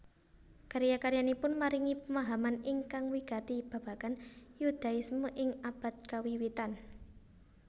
Karya karyanipun maringi pemahaman ingkang wigati babagan Yudaisme ing abad kawiwitan